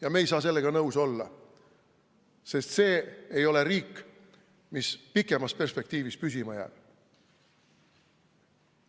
Aga me ei saa sellega nõus olla, sest see ei ole riik, mis pikemas perspektiivis püsima jääks.